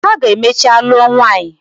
Ha ga emechaa lụọ nwanyị.